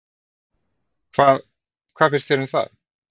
Hvað, hvað finnst þér um það?